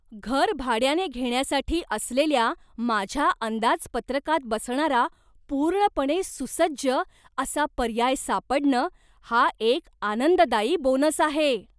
घर भाड्याने घेण्यासाठी असलेल्या माझ्या अंदाजपत्रकात बसणारा पूर्णपणे सुसज्ज असा पर्याय सापडणं हा एक आनंददायी बोनस आहे.